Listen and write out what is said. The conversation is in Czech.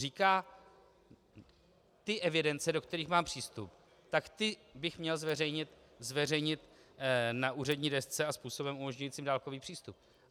Říká: ty evidence, do kterých mám přístup, tak ty bych měl zveřejnit na úřední desce a způsobem umožňujícím dálkový přístup.